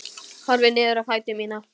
Horfi niður á fætur mína.